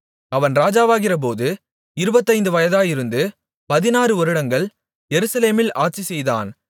அவன் ராஜாவாகிறபோது இருபத்தைந்து வயதாயிருந்து பதினாறு வருடங்கள் எருசலேமில் ஆட்சிசெய்தான்